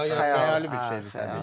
Xəyalidir də, yəni xəyali bir şeydir.